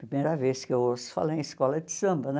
Primeira vez que eu ouço falar em escola de samba, né?